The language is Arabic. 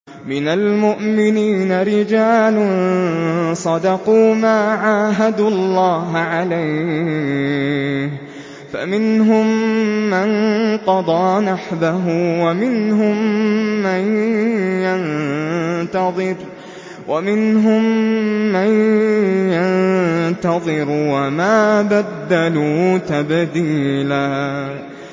مِّنَ الْمُؤْمِنِينَ رِجَالٌ صَدَقُوا مَا عَاهَدُوا اللَّهَ عَلَيْهِ ۖ فَمِنْهُم مَّن قَضَىٰ نَحْبَهُ وَمِنْهُم مَّن يَنتَظِرُ ۖ وَمَا بَدَّلُوا تَبْدِيلًا